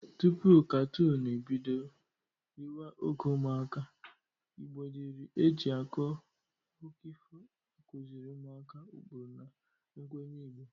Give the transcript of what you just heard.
Tupu katoonụ ebido riwa oge ụmụaka, Igbo dịrị e ji akụkụ ifo akụzịrị ụmụaka ukpuru na mkwenye Igbo.